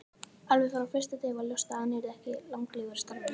Alveg frá fyrsta degi var ljóst að hann yrði ekki langlífur í starfinu.